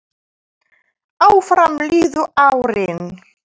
Áfram liðu árin.